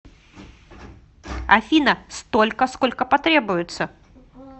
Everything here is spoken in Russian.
афина столько сколько потребуется